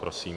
Prosím.